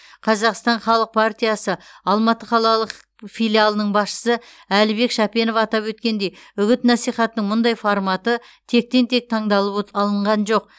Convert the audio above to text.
қазақстан халық партиясы алматы қалалық филиалының басшысы әлібек шапенов атап өткендей үгіт насихаттың мұндай форматы тектен тек таңдалып от алынған жоқ